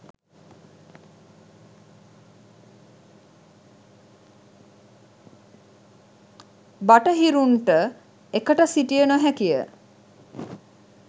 බටහිරුන්ට එකට සිටිය නොහැකිය